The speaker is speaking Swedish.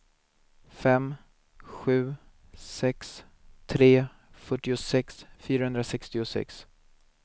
fem sju sex tre fyrtiosex fyrahundrasextiosex